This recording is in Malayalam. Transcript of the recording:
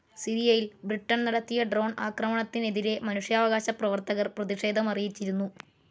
സിറിയയിൽ ബ്രിട്ടൻ നടത്തിയ ഡ്രോൺ ആക്രമണത്തിനെതിരെ മനുഷ്യാവകാശ പ്രവർത്തകർ പ്രതിഷേധമറിയിച്ചിരുന്നു.